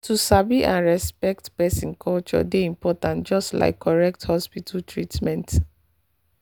to sabi and respect person culture dey important just like correct hospital treatment.